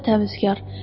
Özü də təmizkar.